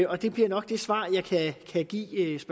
og det bliver nok det svar jeg kan give